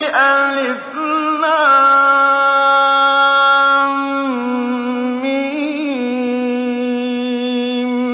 الم